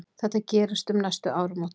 Þetta gerist um næstu áramót.